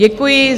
Děkuji.